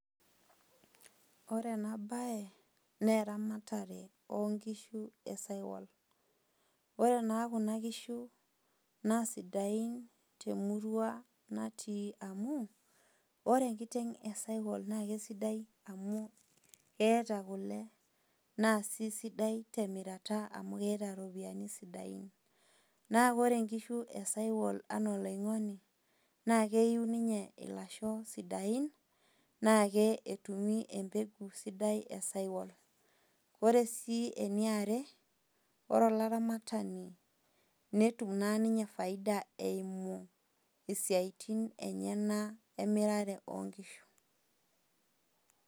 Ore ena baye naa eramatare oonkishu esaiwal. Ore naa kuna kishu naa sidain temurua natii amu, ore enkiteng' esiwal naa kesidai amu eeta kule na sii sidai temira amu eeta iropiyiani sidain, naa ore inkishu esaiwal anaa oloinkoni naa keiu ninye ilasho sidain, naa ketumi embeku sidai esaiwal. Ore sii eniare ore olaramatani netum naa ninye faida eimu esiatin enyana emirare oo nkishu.